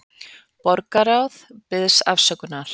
Borgarráð biðst afsökunar